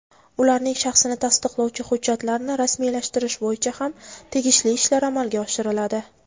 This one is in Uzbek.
ularning shaxsini tasdiqlovchi hujjatlarni rasmiylashtirish bo‘yicha ham tegishli ishlar amalga oshiriladi.